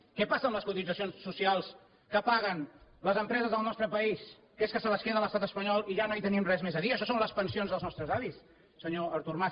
què passa amb les cotitzacions socials que paguen les empreses del nostre país que és que se les queda l’estat espanyol i ja no hi tenim res més a dir això són les pensions dels nostres avis senyor artur mas